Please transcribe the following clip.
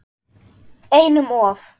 Einum of